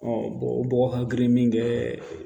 o bɔgɔ hakili min bɛ